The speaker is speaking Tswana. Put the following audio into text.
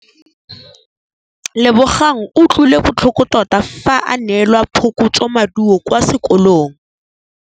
Lebogang o utlwile botlhoko tota fa a neelwa phokotsômaduô kwa sekolong.